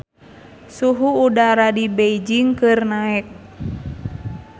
Suhu udara di Beijing keur naek